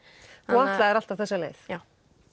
þú ætlaðir alltaf þessa leið já